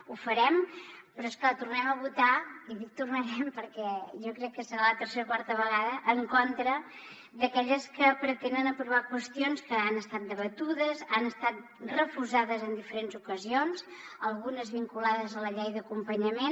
ho farem però és clar tornarem a votar i dic tornarem perquè jo crec que serà la tercera o quarta vegada en contra d’aquelles que pretenen aprovar qüestions que han estat debatudes han estat refusades en diferents ocasions algunes vinculades a la llei d’acompanyament